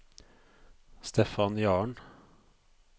Stephan Jahren